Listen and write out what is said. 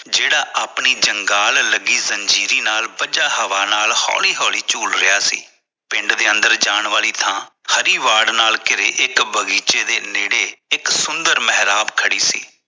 ਜਿਹੜਾ ਆਪਣੀ ਜੰਗਾਲ ਲੱਗੀ ਜ਼ੰਜੀਰੀ ਨਾਲ ਪੰਜਾ ਹਵਾਂ ਨਾਲ ਹੋਲੀ ਹੋਲੀ ਚੁਲ ਰਿਹਾ ਸੀ ਪਿੰਡ ਦੇ ਅੰਦਰ ਜਾਣ ਵਾਲੀ ਥਾਂ ਹਰੀ ਵਾਰਡ ਨਾਲ ਘੇਰੇ ਇਕ ਬਗ਼ੀਚੇ ਦੇ ਨੇੜੇ ਇਕ ਸੁੰਦਰ ਮੇਹਰਾਬ ਖੜ੍ਹੀ ਸੀ